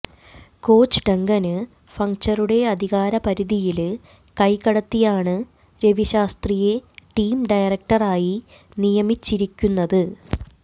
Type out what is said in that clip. coach Duncan ഫഌച്ചറുടെ അധികാര പരിധിയില് കൈ കടത്തിയാണ് രവി ശാസ്ത്രിയെ ടീം ഡയറക്ടറായി നിയമിച്ചിരിക്കുന്നത്